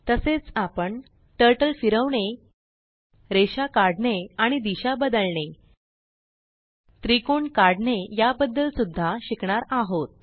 तसेच आपण Turtleफिरवणे रेषा काढणे आणि दिशा बदलणे त्रिकोण काढणे याबद्दल सुद्धा शिकणार आहोत